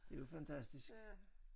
Det jo fantastisk